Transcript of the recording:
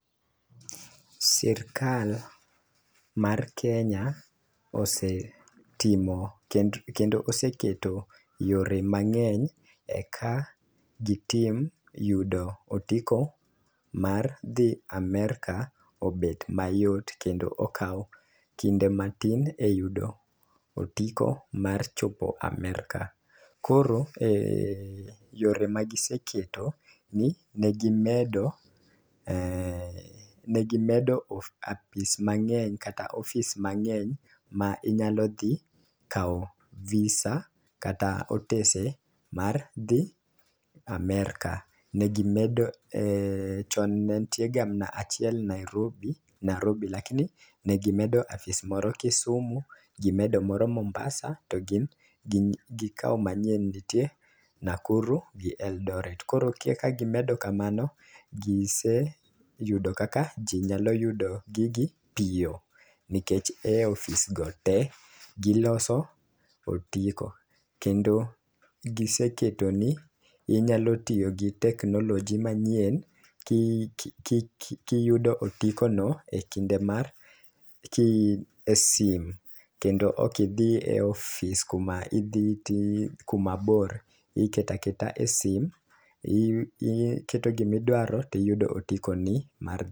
Sirkal mar kenya osetimo kend kendo oseketo yore mang'eny eka gitim yudo otiko mar dhi Amerka obet mayot kendo okawo kinde matin e yudo otiko mar chopo Amerka. Koro yore ma giseketo ni ne gimedo ne gimedo apis mang'eny kata ofis mang'eny ma inyalo dhi kawo VISA kata otese mar dhi Amerka . Negi medo chon ne ntie ga mna achiel Nairobi narobi to lakini ne gimedo apis moro kisumu gimedo moro mombasa to gikawo mane ntie nakuru gi Eldoret . Koro ka gimedo kamano , giseyudo kaka jii nyalo yudo gigi piyo nikech e ofis go tee giloso otiko kendo giseketo ni inyalo tiyo gi technology manyie ki ki kiyudo otiko no e kinde mar e ki e sim kendo ok idhi e ofis kuma idhi ti kuma boro iketa keta e sim i iketo gimi dwaro tiyudo otiko ni mar